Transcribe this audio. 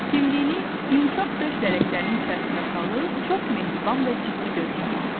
Dimdiyini yumşaq döş lələklərinin içərisinə salıb çox mehriban və ciddi görkəm aldı.